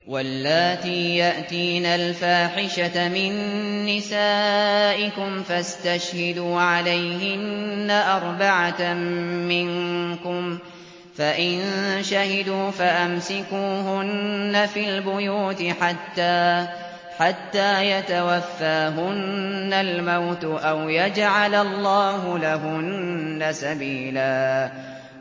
وَاللَّاتِي يَأْتِينَ الْفَاحِشَةَ مِن نِّسَائِكُمْ فَاسْتَشْهِدُوا عَلَيْهِنَّ أَرْبَعَةً مِّنكُمْ ۖ فَإِن شَهِدُوا فَأَمْسِكُوهُنَّ فِي الْبُيُوتِ حَتَّىٰ يَتَوَفَّاهُنَّ الْمَوْتُ أَوْ يَجْعَلَ اللَّهُ لَهُنَّ سَبِيلًا